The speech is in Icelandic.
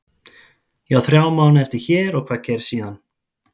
Ég á þrjá mánuði eftir hér og hvað gerist síðan?